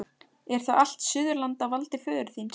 Er þá allt Suðurland á valdi föður þíns?